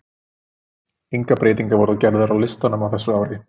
Engar breytingar voru gerðar frá listanum á þessu ári.